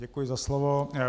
Děkuji za slovo.